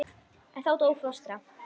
En þá dó fóstra.